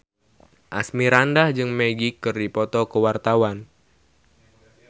Asmirandah jeung Magic keur dipoto ku wartawan